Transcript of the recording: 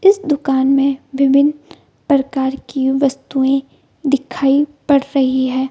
इस दूकान मे विभिन्न प्रकार की वस्तुए दिखाई पड़ रही है ।